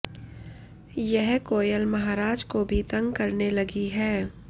यह कोयल महाराज को भी तंग करने लगी है